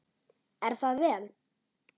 Er það vel!